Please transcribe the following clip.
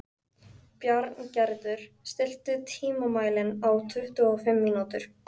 Bjarngerður, stilltu tímamælinn á tuttugu og fimm mínútur.